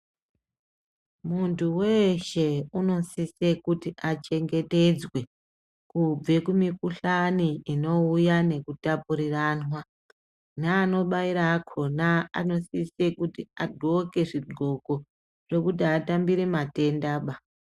Muntu weshe anosisa kuti achengetedzwe kubva kumikuhlani inouya nekupariranwa nanobaira akona anosisa kuti agonhke zvigonko zvekuti atambire matendaba.